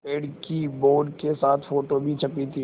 पेड़ की बोर्ड के साथ फ़ोटो भी छपी थी